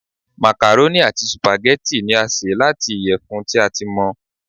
màkàrónì ati sùpàgẹ́tì ni a ṣe lati iyẹfun ti a ti mọ